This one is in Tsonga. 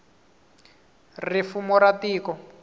ri fumo ra tiko